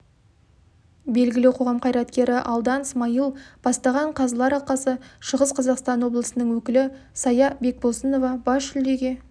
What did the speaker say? белгілі қоғам қайреткері алдан смайыл бастаған қазылар алқасы шығыс қазақстан облысының өкілі сая бекбосынова бас жүлдеге